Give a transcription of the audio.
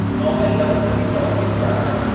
नॉविलु लफ़्ज़ जी तफ़्सील ॼाणायो?